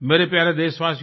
मेरे प्यारे देशवासियों